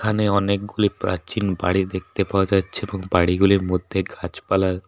এখানে অনেকগুলো প্রাচীন বাড়ি দেখতে পাওয়া যাচ্ছে এবং বাড়িগুলির মধ্যে গাছপালা --